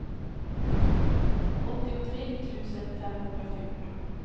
åttiotre tusen femhundrafjorton